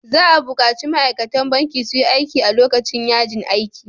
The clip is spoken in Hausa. Za a bukaci ma'aikatan banki su yi aiki a lokacin yajin aikin.